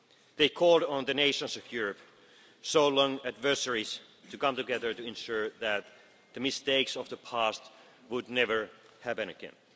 They called on the nations of Europe, so long adversaries, to come together to ensure that the mistakes of the past would never happen again.